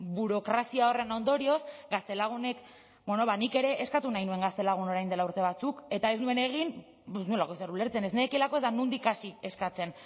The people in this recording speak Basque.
burokrazia horren ondorioz gaztelagunek bueno nik ere eskatu nahi nuen gaztelagun orain dela urte batzuk eta ez nuen egin ez nuelako ezer ulertzen ez nekielako eta nondik hasi eskatzen